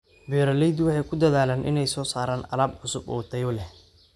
Beeraleydu waxay ku dadaalaan inay soo saaraan alaab cusub oo tayo leh.